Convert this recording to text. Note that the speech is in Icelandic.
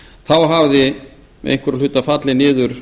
þá hafði einhverra hluta vegna fallið niður